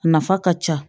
A nafa ka ca